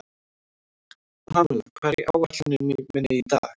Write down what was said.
Pamela, hvað er á áætluninni minni í dag?